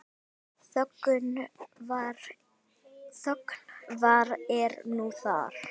Þöggun, hvað er nú það?